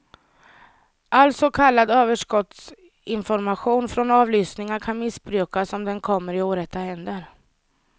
All så kallad överskottsinformation från avlyssningar kan missbrukas om den kommer i orätta händer.